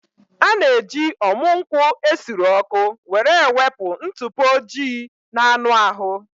A na-eji ọmụ nkwụ esuru ọkụ were ewepụ ntụpọ ojii na anụ ahụ